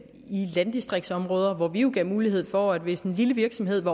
i landdistriktsområder hvor vi jo gav mulighed for at hvis en lille virksomhed